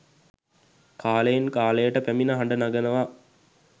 කාලයෙන් කාලයට පැමිණ හඬ නගනවා.